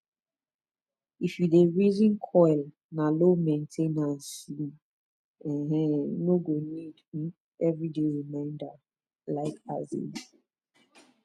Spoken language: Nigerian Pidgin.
if u dey reason coil na low main ten ance u um no go need um everyday reminder like asin